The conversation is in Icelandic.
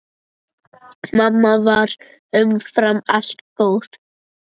Mamma var umfram allt góð.